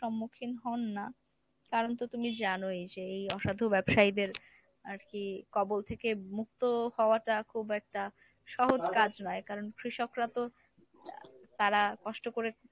সম্মুখীন হন না। কারণ তো তুমি জানোই যে এই অসাধু ব্যবসায়ীদের আরকি কবল থেকে মুক্ত হওয়াটা খুব একটা সহজ কাজ নয় কারণ কৃষকরা তো তারা কষ্ট করে